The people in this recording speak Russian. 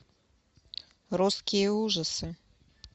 русские ужасы